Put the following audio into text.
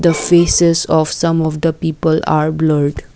the faces of some of the people are blurred.